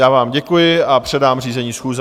Já vám děkuji a předám řízení schůze.